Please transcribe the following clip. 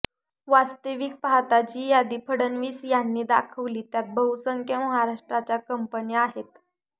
वास्तविक पाहता जी यादी फडणवीस यांनी दाखवली त्यात बहुसंख्य महाराष्ट्राच्या कंपन्या आहेत